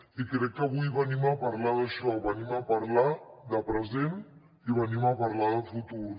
i crec que avui venim a parlar d’això venim a parlar de present i venim a parlar de futur